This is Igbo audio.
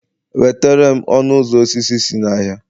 wetare'm ọnụ ụzọ osisi si n'ahịa